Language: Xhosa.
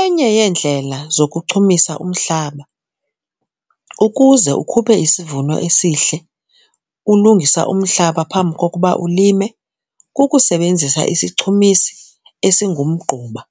Enye yeendlela zokuchumisa umhlaba ukuze ukhuphe isivuno esihle ulungisa umhlaba phambi kokuba ulime kukusebenzisa isichumisi esingumgquba.